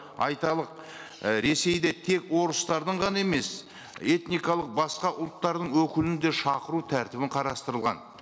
айталық і ресейде тек орыстардың ғана емес этникалық басқа ұлттардың өкілін де шақыру тәртібі қарастырылған